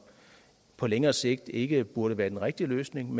på længere sigt ikke burde være den rigtige løsning